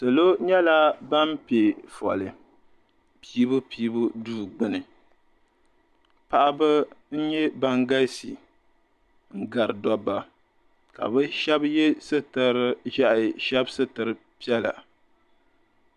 Salo nyɛla ban pɛ foli Piibupiibu duu gbuni paɣaba n nyɛ ban galisi n gari dobba ka bi shɛbi yɛ sitiri ʒiɛhi shɛb sitiri piɛla.